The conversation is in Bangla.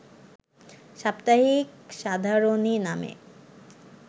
সাপ্তাহিক সাধারণী নামে